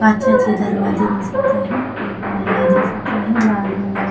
काचेचे दरवाजे दिसत आहे एक मुलगा दिसत आहे. लाल रंगांचं--